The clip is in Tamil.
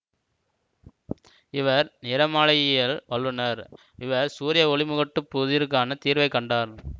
இவர் நிறமாலையியலில் வல்லுனர் இவர் சூரிய ஒளிமுகட்டுப் புதிருக்கான தீர்வைக் கண்டார்